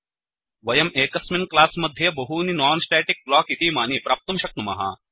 वयम् एकस्मिन् क्लास् मध्ये बहूनि नोन् स्टेटिक् ब्लोक् इतीमानि प्राप्तुं शक्नुमः